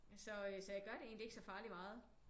Så jeg gør det egentlig ikke så farligt meget